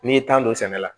N'i ye tan don sɛnɛ la